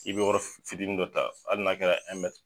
I bɛ yɔrɔ fitiinin dɔ ta ali n'a kɛra .